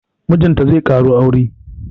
Mijinta zai ƙaro aure